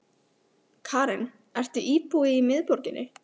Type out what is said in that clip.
Karen: Ertu íbúi í miðborginni?